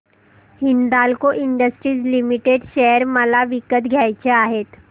Hindalco industries limited share मला विकत घ्यायचे आहेत